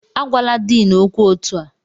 Agwala Din okwu otu a!